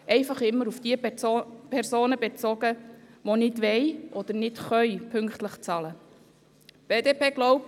Das bezieht sich stets auf die Personen, die nicht pünktlich bezahlen können oder wollen.